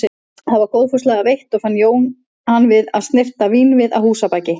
Það var góðfúslega veitt og fann Jón hann við að snyrta vínvið að húsabaki.